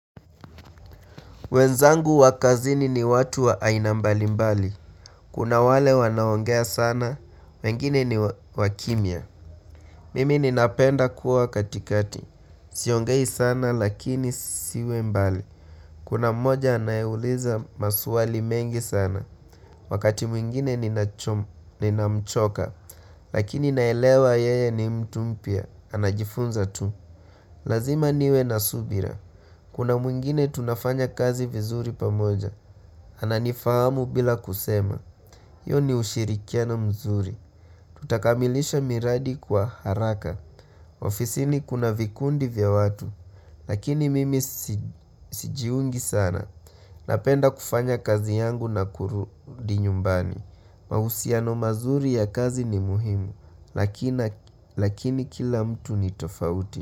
Wenzangu wa kazini ni watu wa aina mbali mbali. Kuna wale wanaongea sana, wengine ni wakimya. Mimi ninapenda kuwa katikati. Siongei sana lakini siwe mbali. Kuna mmoja anaeuliza maswali mengi sana. Wakati mwingine ninamchoka. Lakini naelewa yeye ni mtu mpya anajifunza tu. Lazima niwe na subira. Kuna mwingine tunafanya kazi vizuri pamoja. Ananifahamu bila kusema. Huyo ni ushirikiano mzuri. Tutakamilisha miradi kwa haraka. Ofisini kuna vikundi vya watu. Lakini mimi sijiungi sana. Napenda kufanya kazi yangu na kurudi nyumbani. Mahusiano mazuri ya kazi ni muhimu. Lakini kila mtu ni tofauti.